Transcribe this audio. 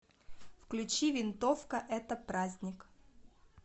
включи винтовка это праздник